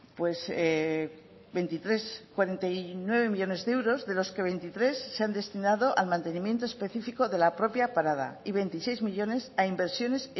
cuarenta y nueve millónes de euros de los que veintitrés se han destinado al mantenimientos específico de la propia parada y veintiséis millónes a inversiones